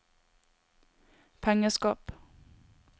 pengeskap